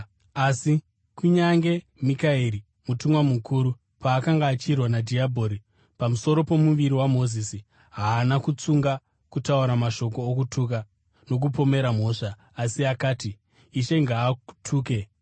Asi kunyange Mikaeri mutumwa mukuru, paakanga achirwa nadhiabhori pamusoro pomuviri waMozisi, haana kutsunga kutaura mashoko okutuka nokumupomera mhosva, asi akati, “Ishe ngaakutuke!”